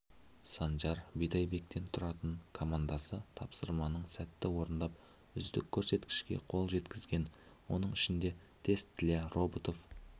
санжара бидайбектен тұртаны командасы тапсырманың сәтті орындап үздіккөрсеткішке қол жеткізген оның ішінде тест для роботов